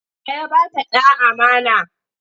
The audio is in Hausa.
Wa ya ba ta ɗa amana?